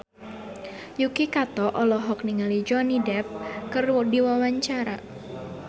Yuki Kato olohok ningali Johnny Depp keur diwawancara